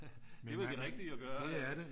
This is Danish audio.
Det er vel det rigtige at gøre